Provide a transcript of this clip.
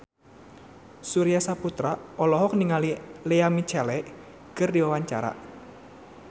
Surya Saputra olohok ningali Lea Michele keur diwawancara